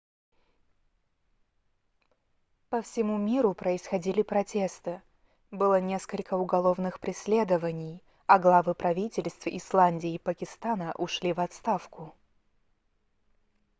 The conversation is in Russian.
по всему миру происходили протесты было несколько уголовных преследований а главы правительств исландии и пакистана ушли в отставку